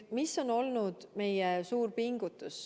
Mis on olnud meie suur pingutus?